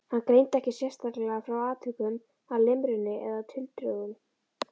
Hann greindi ekki sérstaklega frá atvikum að limrunni eða tildrögum.